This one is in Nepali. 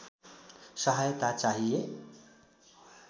सहायता चाहिए